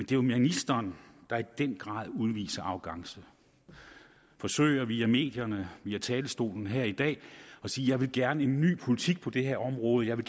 jo ministeren der i den grad udviser arrogance forsøger via medierne via talerstolen her i dag at sige jeg vil gerne en ny politik på det her område jeg vil